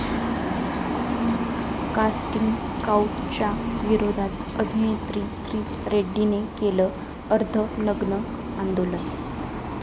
casting काऊचच्या विरोधात अभिनेत्री श्री रेड्डीने केलं अर्धनग्न आंदोलन